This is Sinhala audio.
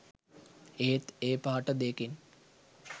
ඒත් ඒ පාට දෙකෙන්